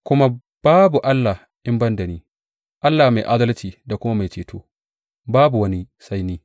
Kuma babu Allah in ban da ni, Allah mai adalci da kuma Mai Ceto; babu wani sai ni.